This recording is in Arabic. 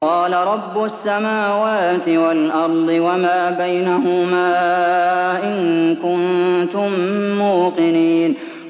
قَالَ رَبُّ السَّمَاوَاتِ وَالْأَرْضِ وَمَا بَيْنَهُمَا ۖ إِن كُنتُم مُّوقِنِينَ